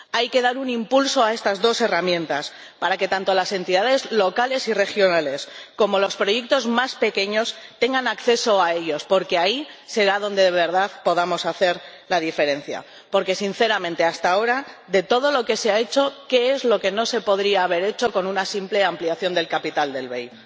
Hay que dar un impulso a estas dos herramientas, para que tanto las entidades locales y regionales como los proyectos más pequeños tengan acceso a ellos, porque ahí será donde de verdad podamos hacer la diferencia. Porque, sinceramente, hasta ahora, de todo lo que se ha hecho, ¿qué es lo que no se podría haber hecho con una simple ampliación del capital del BEI?